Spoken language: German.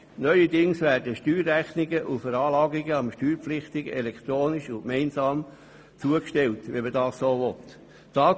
Neuerdings werden den Steuerpflichtigen Steuerrechnung und Veranlagung elektronisch und gemeinsam zugestellt, wenn sie dies so wünschen.